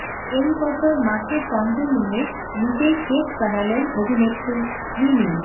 এই বছর মাকে সঙ্গে নিয়ে নিজেই কেক বানালেন অভিনেত্রী মিমি